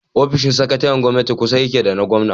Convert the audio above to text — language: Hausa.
Ofishin sakataren gwamnati kusa yake da na gwamna.